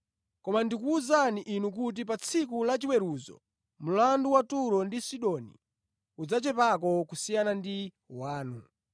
Koma ndikuwuzani inu kuti pa tsiku lachiweruzo mlandu wa Turo ndi Sidoni udzachepako kusiyana ndi wanu.